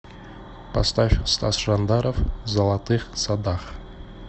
поставь стас жандаров в золотых садах